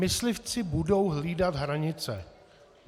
Myslivci budou hlídat hranice.